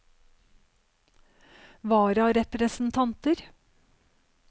vararepresentanter